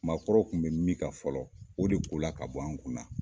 Maakɔrɔw kun bɛ min kan fɔlɔ o de ko la ka bɔ an kun na.